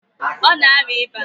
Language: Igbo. Ọ na arịa ịba.